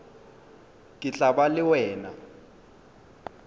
ke tla ba le wena